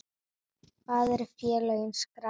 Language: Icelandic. Hvar eru félögin skráð?